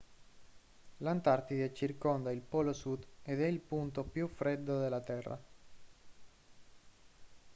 l'antartide circonda il polo sud ed è il punto più freddo della terra